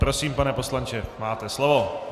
Prosím, pane poslanče, máte slovo.